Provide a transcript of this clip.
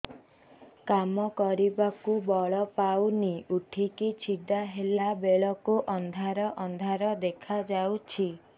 କାମ କରିବାକୁ ବଳ ପାଉନି ଉଠିକି ଛିଡା ହେଲା ବେଳକୁ ଅନ୍ଧାର ଅନ୍ଧାର ଦେଖା ଯାଉଛି